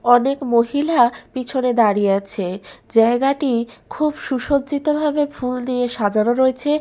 অনেক মহিলা পিছনে দাঁড়িয়ে আছে জায়গাটি খুব সুসজ্জিত ভাবে ফুল দিয়ে সাজানো রয়েছে।